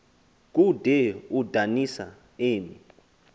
kude udanisa emi